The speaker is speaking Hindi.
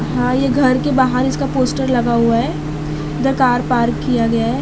हां ये घर के बाहर इसका पोस्टर लगा हुआ है इधर कार पार्क किया गया है।